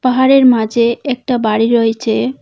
পাহাড়ের মাঝে একটা বাড়ি রয়েছে।